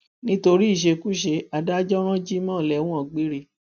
nítorí ìṣekúṣe adájọ ran jimoh lẹwọn gbére